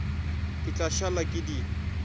ke tla šala ke di